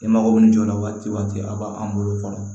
E mago bɛ nin jɔ la waati o waati a b'an bolo fɔlɔ